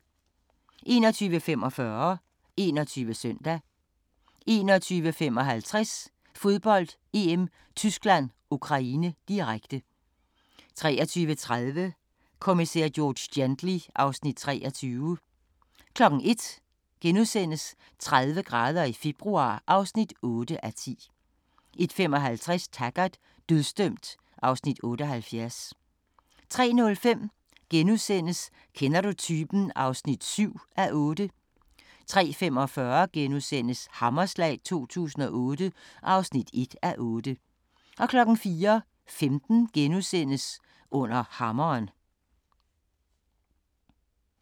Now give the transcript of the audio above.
21:45: 21 Søndag 21:55: Fodbold: EM - Tyskland-Ukraine, direkte 23:30: Kommissær George Gently (Afs. 23) 01:00: 30 grader i februar (8:10)* 01:55: Taggart: Dødsdømt (Afs. 78) 03:05: Kender du typen? (7:8)* 03:45: Hammerslag 2008 (1:8)* 04:15: Under hammeren *